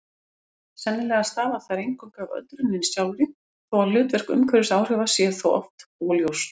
Sennilega stafa þær eingöngu af öldruninni sjálfri þó að hlutverk umhverfisáhrifa sé oft óljóst.